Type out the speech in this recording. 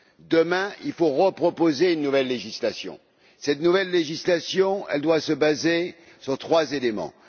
Demain, il faut proposer une nouvelle législation. Cette nouvelle législation doit se baser sur trois éléments.